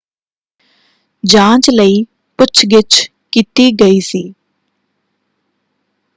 ਜਾਂਚ ਲਈ ਪੁੱਛ-ਗਿੱਛ ਕੀਤੀ ਗਈ ਸੀ।